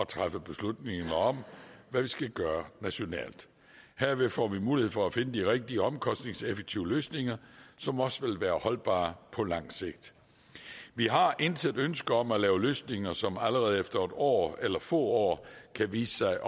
træffe beslutning om hvad vi skal gøre nationalt herved får vi mulighed for at finde de rigtige omkostningseffektive løsninger som også vil være holdbare på lang sigt vi har intet ønske om at lave løsninger som allerede efter et år eller få år kan vise sig